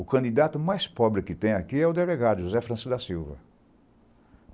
O candidato mais pobre que tem aqui é o delegado José Francisco da Silva.